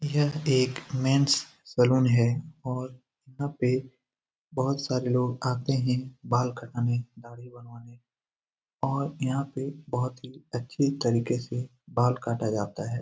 यह एक men's salon है और यहाँ पे यहाँ पे बहुत सारे लोग आते है बाल कटआने दाड़ी बनवाने और यहा पे बहुत ही अच्छी तरीके से बाल काटा जाता है ।